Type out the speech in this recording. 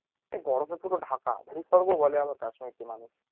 বরফে পুরো ঢাকা ভূস্বর্গ বলে আবার কাশ্মীরকে মানুষ